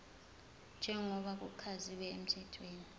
njengoba kuchaziwe emthethweni